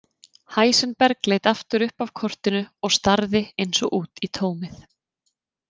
Heisenberg leit aftur upp af kortinu og starði eins og út í tómið.